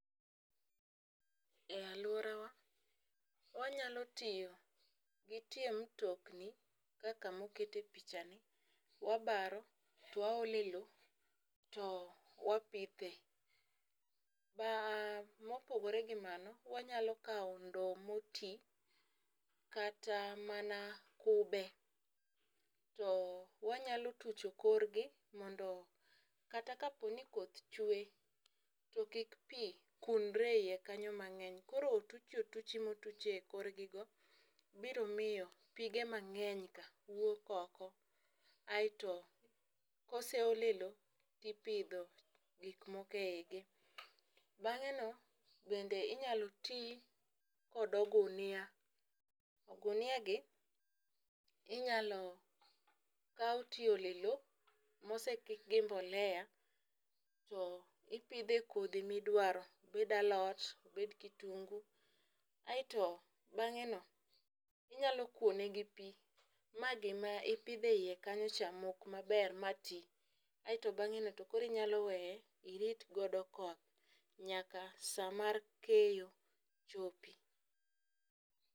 E aluorawa wanyalo tiyo gi tie mtokni kaka mokete picha ni ,wabaro to waole lowo to wapithe. Baa mopogore gi mano, wanyalo kawo ndowo motii kata mana kube to wanyalo tucho korgi mondo kata kaponi koth chwe ,to kik pii kunre e iye kanyo mang'eny. Koro otuchi motuch e kor gigo biro miyo pige mang'eny ka wuok oko kaeto koseole lowo tipidho gik moko eigi. Bang'e no bende inyalo tii kod ogunia ogunia gi inyalo kaw tiole lowo mosekik gi mbolea to ipidhe kodhi midwaro. Obed alot, obed kitungu. Aeto beng'e ni inyalo kuone gi pii ma gima ipidhe iye kanyo cha mok maber ma tii aeto bang'e no nyalo weye irit godo koth nyaka saa mar keyo chopi.